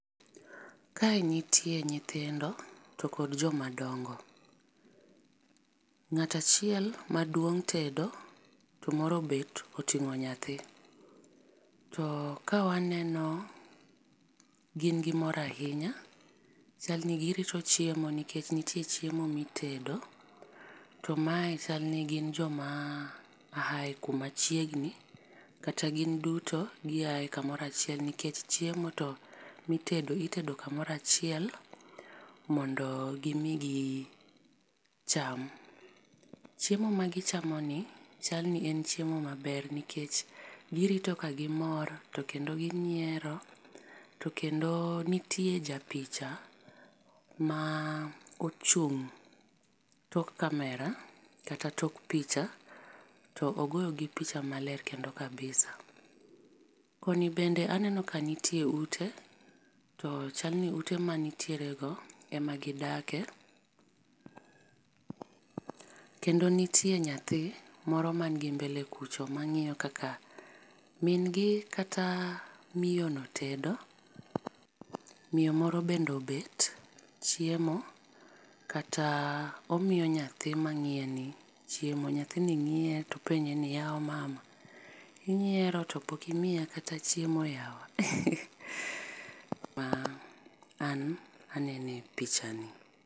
Kae nitie nyithindo to kod jo ma dongo, ng'at achiel ma duong tedo to moro obet otingo nyathi. To ka waneno gin gi mor ainya, chal ni gi rito chiemo nikech nitie chiemo mi itedo. To mae chalni ni gi jo ma aae kumachiegni kata gin duto gi ae ka moro achiel nikech chiemo to mi itedo itedo kumoro achiel mondo gimi cham. Chiemo ma gi chamo ni chal ni en chiemo ma ber nikech gi rito ka gi mor to kendo gi nyiero to kendo nitie ja picha ma ochung tok camera kata tok picha to ogoyo gi picha ma ler kendo kabisa. Koni bende aneno ka nitie ute to chalni ute mantiere go ema gidake. Kendo nitie nyathi moro man gi mbele kucho ma ng'iyo kaka min gi kata miyo no tedo, miyo moro bende obet chiemo kata omiyo nyathi ma ngiye ni chiemo. Nyathini ngiye to apenji ni yawa mama inyiero to pok imiya kata chiemo yawa. Ma an aneno e picha ni.